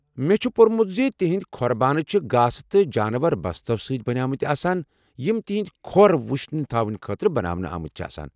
مےٚ چھُ پوٚرمُت زِ تَہندِ کھۄر بانہٕ چھِ گاسہٕ تہٕ جانور بستو سۭتۍ بنیمٕتۍ آسان یم تہندِ کھۄر وُشِنۍ تھاونہٕ خٲطرٕ بناونہٕ آمٕتۍ آسان چھِ ۔